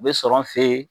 U bɛ sɔrɔ an fe yen